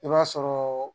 I b'a sɔrɔ